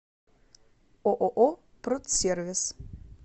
ооо продсервис